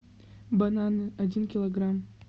бананы один килограмм